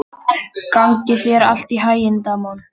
Gangi þér allt í haginn, Damon.